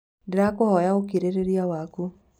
Ndĩrahoya ũkirĩrĩria waku